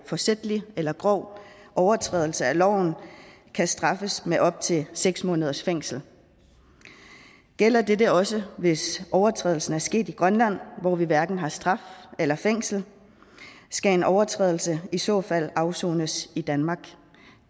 forsætlig eller grov overtrædelse af loven kan straffes med op til seks måneders fængsel gælder dette også hvis overtrædelsen er sket i grønland hvor vi hverken har straf eller fængsel skal en overtrædelse i så fald afsones i danmark